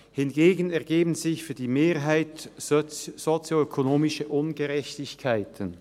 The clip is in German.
Hingegen ergeben sich für die Mehrheit sozioökonomische Ungerechtigkeiten.